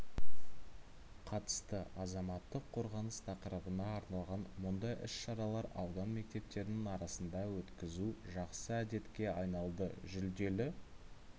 қатысты азаматтық қорғаныс тақырыбына арналған мұндай іс-шаралар аудан мектептерінің арасында өткізу жақсы әдетке айналды жүлделі